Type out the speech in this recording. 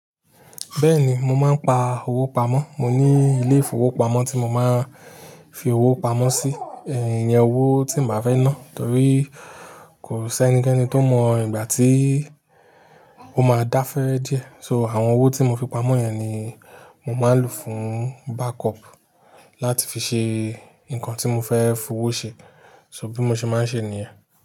Bẹ́ẹ̀ni, mo máa ń pa owó pamọ́. Mo ní ilé ìfowópamọ́ tí mo máa ń fi owó pamọ́ sí, ẹ̀ iyẹn owó tí màá fẹ́ ná. Torí kò sí ẹnikẹ́ni tó mọ ìgbà tí ó máa dáfẹ́re díẹ̀. So àwọn owó tí mo fi pamọ́ yẹn ni mo máa ń lò fún backup láti fi ṣe nǹkan tí mo fẹ́ fowó ṣe. So bí mo ṣe máa ń ṣe nìyẹn.